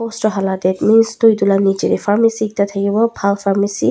poster hala yeh mins tu etu laga niche teh pharmacy ekta thakiwo phal pharmacy .